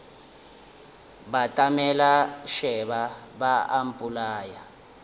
batamela šeba ba a mpolaya